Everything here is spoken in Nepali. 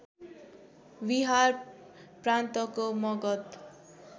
बिहार प्रान्तको मगध